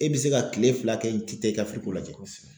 E bi se ka kile fila kɛ i ti ka lajɛ.